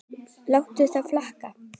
Láttu það flakka.